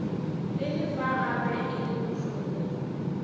e lefa gape e bohloko